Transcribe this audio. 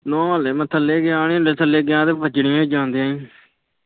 ਨਾ ਹੱਲੇ ਮੈਂ ਥੱਲੇ ਨੀ ਗਿਆ ਥੱਲੇ ਗਿਆ ਵੱਜਣੀਆਂ ਜਾਂਦਿਆ ਈ।